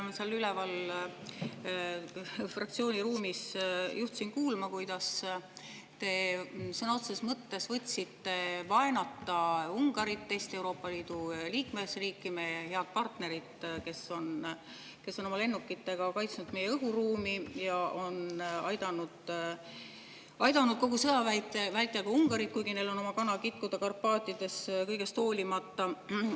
Ma seal üleval fraktsiooni ruumis olles juhtusin kuulma, kuidas te sõna otseses mõttes võtsite vaenata Ungarit, teist Euroopa Liidu liikmesriiki, meie head partnerit, kes on oma lennukitega kaitsnud meie õhuruumi ja aidanud kogu sõja vältel ka, kuigi neil on oma kana kitkuda Karpaatides, kõigest hoolimata.